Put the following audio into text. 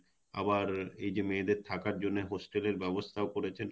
আবার এইযে মেয়েদের থাকার জন্যে hostel এর ব্যবস্থাও করেছেন